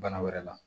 Bana wɛrɛ la